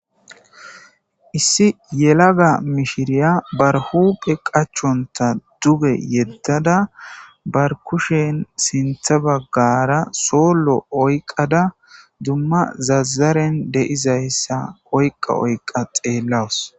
Issi yelaga mishiriya barhuphe qachonta duge yeddada barkushen sintha baggara soollo oyqada dumma zazaren deizayssa oyqa oyqqa xeellawus.